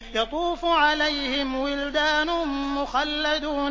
يَطُوفُ عَلَيْهِمْ وِلْدَانٌ مُّخَلَّدُونَ